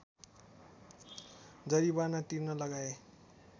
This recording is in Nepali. जरिवाना तिर्न लगाए